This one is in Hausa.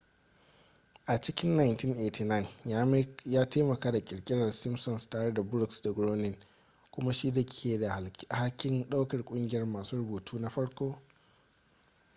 a cikin 1989 ya taimaka ƙirƙirar simpsons tare da brooks da groening kuma shi ke da alhakin ɗaukar ƙungiyar masu rubutu na farko